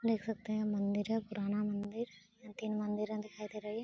देख सकते हैं मंदिर है पुराना मंदिर यहां तीन मंदिरे दिखाई दे रही है।